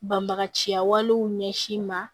Banbagaciya walew ɲɛsin ma